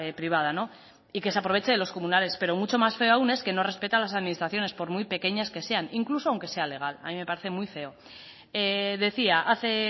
privada y que se aproveche de los comunales pero mucho más feo aún es que no respete a las administraciones por muy pequeñas que sean incluso aunque sea legal a mí me parece muy feo decía hace